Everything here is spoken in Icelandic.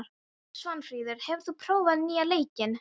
Svanfríður, hefur þú prófað nýja leikinn?